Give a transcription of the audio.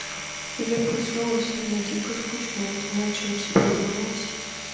я проснулась и мне дико скучно я не знаю чем себя занять